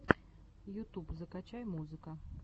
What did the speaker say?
ютуб закачай музыка